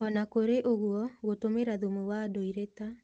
O na kũrĩ o ũguo, gũtũmĩra thumu wa ndũire ta